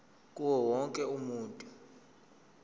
kuwo wonke umuntu